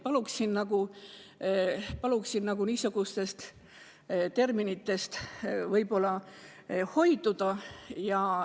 Palun niisugustest terminitest hoiduda.